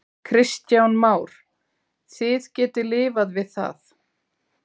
Kristján Már: Þið getið lifað við það?